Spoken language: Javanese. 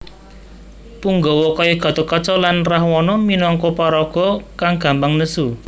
Punggawa kaya Gatotkaca lan Rahwana minangka paraga kang gampang nesu